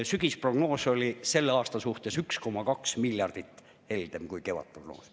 Sügisprognoos oli selleks aastaks 1,2 miljardi võrra heldem kui kevadprognoos.